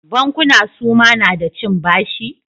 Bankuna suma na da cin bashi?